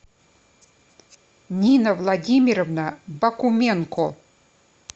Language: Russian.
нина владимировна бакуменко